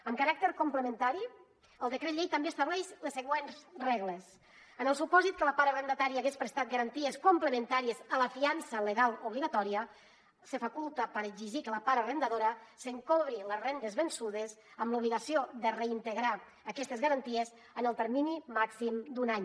amb caràcter complementari el decret llei també estableix les següents regles en el supòsit que la part arrendatària hagués prestat garanties complementàries a la fiança legal obligatòria se faculta per exigir que la part arrendadora se’n cobri les rendes vençudes amb l’obligació de reintegrar aquestes garanties en el termini màxim d’un any